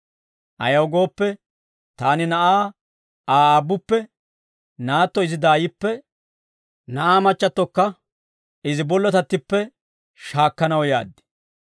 Ayaw gooppe, taani na'aa Aa aabbuppe, naatto izi daayippe, na'aa machchattokka izi bollotattippe shaakkanaw yaad;